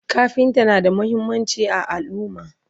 kafinta na da muhimmanci a alumma